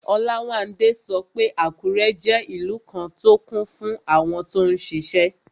Olawande sọ pé Àkúrẹ́ jẹ́ ìlú kan tó kún fún àwọn tó n ṣiṣẹ́